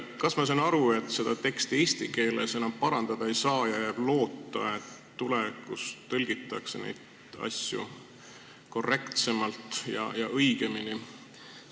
Kas ma saan õigesti aru, et seda teksti eesti keeles enam parandada ei saa ja jääb üle loota, et tulevikus tõlgitakse neid asju korrektsemalt ja õigemini?